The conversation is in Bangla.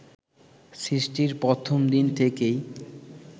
সৃষ্টির প্রথম দিন থেকেই